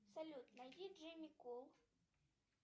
салют найди джимми кул